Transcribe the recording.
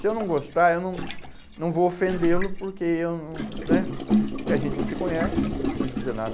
Se eu não gostar, eu não, não vou ofendê-lo, porque eu não, né, a gente não se conhece, não precisa dizer nada.